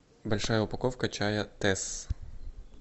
большая упаковка чая тесс